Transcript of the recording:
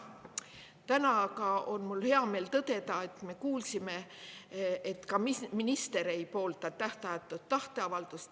Täna aga on mul hea meel tõdeda, et me kuulsime, et ka minister ei poolda tähtajatut tahteavaldust.